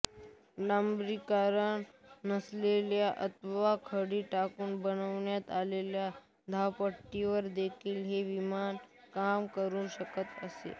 डांबरीकरण नसलेल्या अथवा खडी टाकून बनवण्यात आलेल्या धावपट्टीवर देखील हे विमान काम करू शकत असे